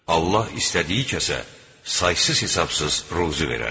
Allah istədiyi kəsə saysız-hesabsız ruzi verər.